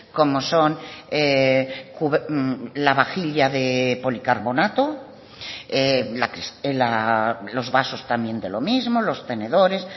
como son la vajilla de policarbonato los vasos también de lo mismo los tenedores